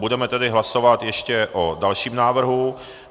Budeme tedy hlasovat ještě o dalším návrhu.